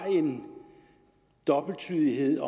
er en dobbelttydelighed med